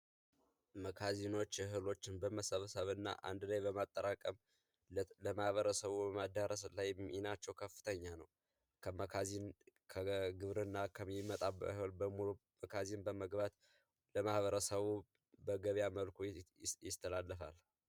መጋዘኖች እህሎችን በመሰብሰብ እና አንድ ላይ በማጠራቀም ደብረ ተስቦ በማዳረስ ላይ ሚናቸው ከፍተኛ ነው ከመጋዘን ከግብርና የሚመጣ እህልን በሙሉ መጋዘን ውስጥ በመግባት ለማህበረሰቡ በገበያ መልኩ ይተላለፋል።